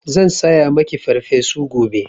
Zan saya maki Farfesu gobe.